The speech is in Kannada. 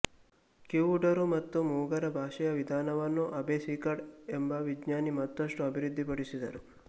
ಕಿವುಡರು ಮತ್ತು ಮೂಗರ ಭಾಷೆಯ ವಿಧಾನವನ್ನ ಅಬ್ಬೆ ಸಿಕಾರ್ಡ್ ಎಂಬ ವಿಜ್ಞಾನಿ ಮತ್ತಷ್ಟು ಅಭಿವೃದ್ಧಿ ಪಡಿಸಿದರು